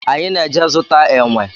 Anyị na-eje zụta enwe